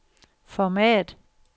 format